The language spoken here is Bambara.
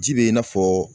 Ji bɛ i n'a fɔ